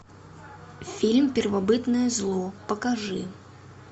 фильм первобытное зло покажи